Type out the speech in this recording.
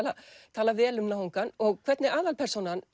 tala vel um náungann og hvernig aðalpersónan